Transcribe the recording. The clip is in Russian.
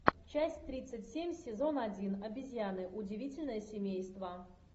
часть тридцать семь сезон один обезьяны удивительное семейство